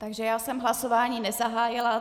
Takže já jsem hlasování nezahájila.